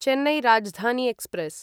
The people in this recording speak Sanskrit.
चेन्नै राजधानी एक्स्प्रेस्